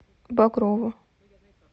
багрову